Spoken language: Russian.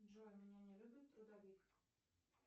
джой меня не любит трудовик